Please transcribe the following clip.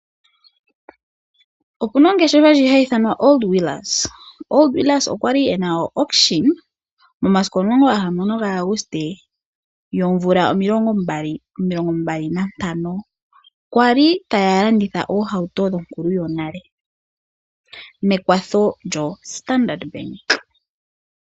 OPuna ongeshefa hayi ithanwa Old weels. Old weels okwali ena awukition momasiku omulongo naga hamano ga Auguste omvula omayovi gaali nomilongi mbali nantano, kwali taya landitha ohauto dhonkulu yonale mekwatho lyoStandard Bank